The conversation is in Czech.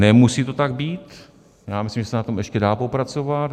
Nemusí to tak být, já myslím, že se na tom ještě dá popracovat.